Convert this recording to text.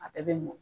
A bɛɛ bɛ mɔn